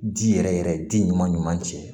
Di yɛrɛ yɛrɛ di ɲuman ɲuman cɛ